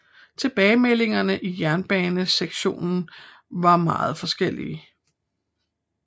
Tilbagemeldingerne i jernbanesektoren var meget forskellige